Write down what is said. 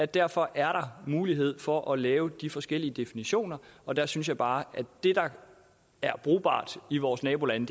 derfor er mulighed for at lave forskellige definitioner og der synes jeg bare at det der er brugbart i vores nabolande